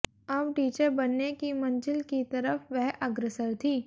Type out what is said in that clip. अब टीचर बनने की मंजिल की तरफ वह अग्रसर थी